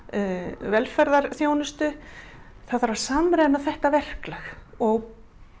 velferðarþjónustu það þarf að samræma þetta verklag og